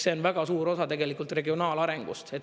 See on väga suur osa regionaalarengust.